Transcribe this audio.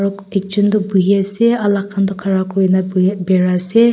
ek jun tuh buhi ase aro alak khan tuh khara kurena buh berai ase.